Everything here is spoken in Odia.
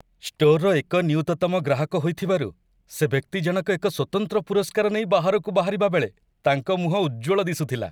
ଷ୍ଟୋରର ଏକ ନିୟୁତତମ ଗ୍ରାହକ ହୋଇଥିବାରୁ, ସେ ବ୍ୟକ୍ତିଜଣକ ଏକ ସ୍ୱତନ୍ତ୍ର ପୁରସ୍କାର ନେଇ ବାହାରକୁ ବାହାରିବାବେଳେ ତାଙ୍କ ମୁହଁ ଉଜ୍ଜ୍ୱଳ ଦିଶୁଥିଲା।